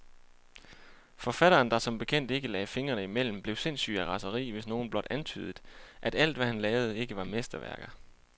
Forfatteren, der som bekendt ikke lagde fingrene imellem, blev sindssyg af raseri, hvis nogen blot antydede, at alt, hvad han lavede, ikke var mesterværker.